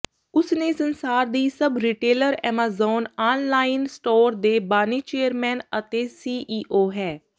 ਉਸ ਨੇ ਸੰਸਾਰ ਦੀ ਸਭ ਰਿਟੇਲਰ ਐਮਾਜ਼ਾਨ ਆਨਲਾਈਨ ਸਟੋਰ ਦੇ ਬਾਨੀ ਚੇਅਰਮੈਨ ਅਤੇ ਸੀਈਓ ਹੈ